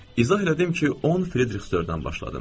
İzah elədim ki, 10 Frederiksterdən başladım.